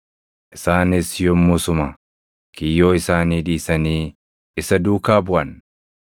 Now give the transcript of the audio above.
Isaanis yommusuma kiyyoo isaanii dhiisanii isa duukaa buʼan.